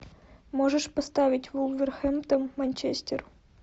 можешь поставить вулверхэмптон манчестер